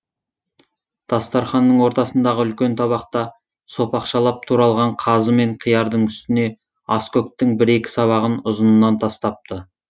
дастарханның ортасындағы үлкен табақта сопақшалап туралған қазы мен қиярдың үстіне аскөктің бір екі сабағын ұзынынан тастапты